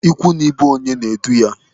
Ikwu na ibe onye na-edu ya.